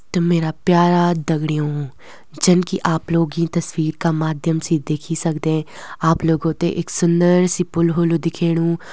त मेरा प्यारा दगड़यूँ जनकि आप लोग यीं तस्वीर का माध्यम से देखी सकदें आप लोगों तें एक सुन्दर सि पुल होलु दिखेणु।